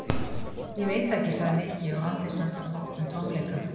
Ég veit það ekki sagði Nikki og andlit hans bar vott um tómleika.